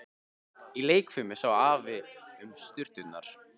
Í leikfiminni sá Afi um sturturnar.